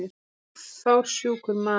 Ég var fársjúkur maður.